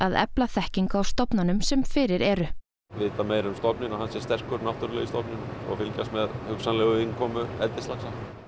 efla þekkingu á stofnunum sem fyrir eru vita meira um stofninn og að hann sé sterkur og fylgjast með hugsanlegri innkomu eldislaxa